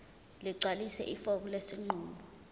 ligcwalise ifomu lesinqumo